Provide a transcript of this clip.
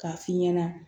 K'a f'i ɲɛna